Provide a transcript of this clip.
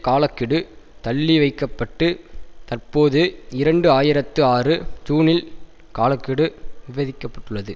கால கெடு தள்ளி வைக்க பட்டு தற்போது இரண்டு ஆயிரத்தி ஆறு ஜீனில் கால கெடு விவரிக்க பட்டுள்ளது